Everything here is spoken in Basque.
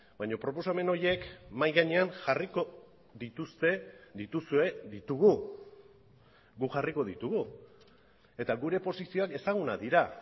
baina proposamen horiek mahai gainean jarriko dituzte dituzue ditugu guk jarriko ditugu eta gure posizioak ezagunak dira